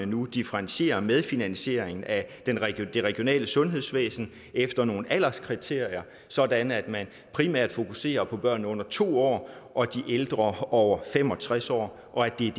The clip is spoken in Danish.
nu differentiere medfinansiering af det regionale sundhedsvæsen efter nogle alderskriterier sådan at man primært fokuserer på børn under to år og de ældre over fem og tres år og at det er